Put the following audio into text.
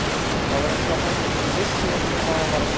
Það var eins og hann vissi ekki hvað hann var að segja.